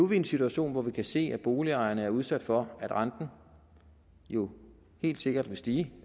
vi i en situation hvor vi kan se at boligejerne er udsat for at renten jo helt sikkert vil stige